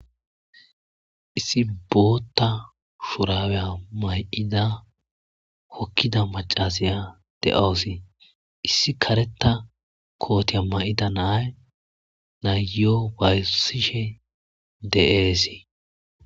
Issi booththa Mayo mayada hokida maccasiya de"awusi issi kareththa mayo mayida naya ayiyo wayisishe de"awusi